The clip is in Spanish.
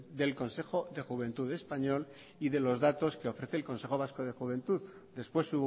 del consejo de juventud español y de los datos que ofrece el consejo vasco de juventud después